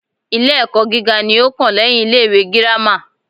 Ilé ẹ́kọ́ gíga ní o kàn lẹ́yin ilé ìwé gírámà.